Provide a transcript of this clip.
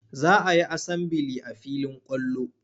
Za a yi asambili a filin kwallo.